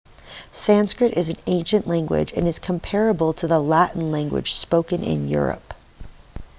sanskrit is an ancient language and is comparable to the latin language spoken in europe